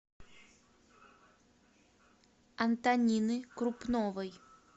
антонины крупновой